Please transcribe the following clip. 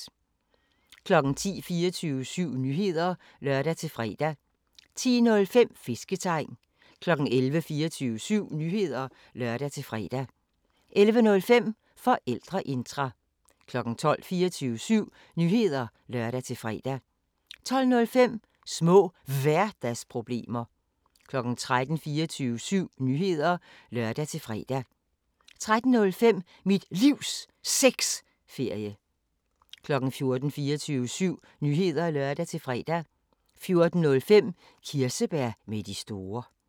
10:00: 24syv Nyheder (lør-fre) 10:05: Fisketegn 11:00: 24syv Nyheder (lør-fre) 11:05: Forældreintra 12:00: 24syv Nyheder (lør-fre) 12:05: Små Hverdagsproblemer 13:00: 24syv Nyheder (lør-fre) 13:05: Mit Livs Sexferie 14:00: 24syv Nyheder (lør-fre) 14:05: Kirsebær med de store